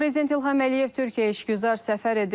Prezident İlham Əliyev Türkiyəyə işgüzar səfər edib.